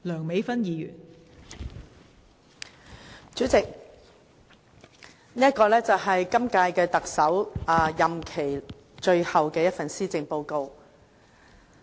代理主席，這是本屆特首任內最後一份施政報告。